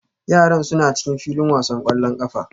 Yaran suna cikin filin wasan ƙwallon ƙafa